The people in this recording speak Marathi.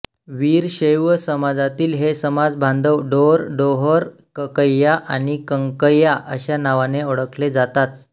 वीरशैव समाजातील हे समाजबांधव ढोरडोहोरकक्कय्या आणि कंकय्या अशा नावाने ओळखले जातात